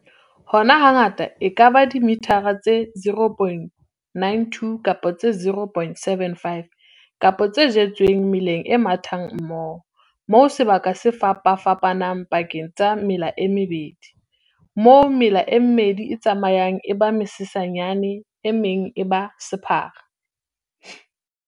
Hona hangata e ka ba dimethara tse 0,92 kapa tse 0,75 kapa tse jetsweng meleng e mathang mmoho, moo sebaka se fapafapanang pakeng tsa mela e mmedi, moo mela e mmedi e tsamayang e ba mesesanyane, e meng e ba sephara.